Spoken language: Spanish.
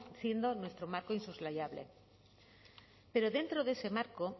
siendo nuestro marco insoslayable pero dentro de ese marco